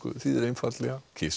þýðir einfaldlega